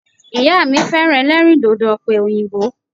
Ìyá mi féràn elérìndòdò òpè òyìnbó